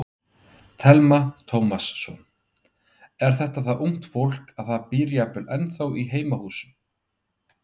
Telma Tómasson: Er þetta það ungt fólk að það býr jafnvel ennþá í heimahúsum?